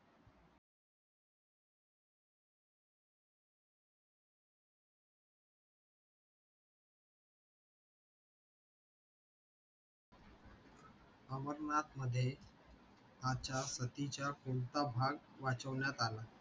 अमरनाथ मध्ये सतीच्या कोणता भाग वाचवण्यात आला?